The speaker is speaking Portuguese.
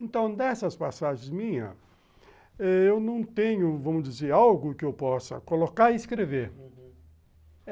Então, dessas passagens minhas, eu não tenho, vamos dizer, algo que eu possa colocar e escrever, uhum.